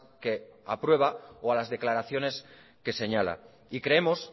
que aprueba o a las declaraciones que señala y creemos